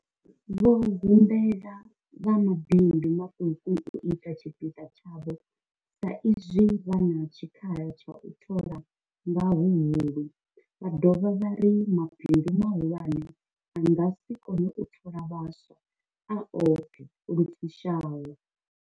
Vho humbela vha mabindu maṱuku u ita tshipiḓa tshavho sa izwi vha na tshikhala tsha u thola nga huhulu, vha dovha vha ri mabindu mahulwane a nga si kone u thola vhaswa a oṱhe lu fushaho.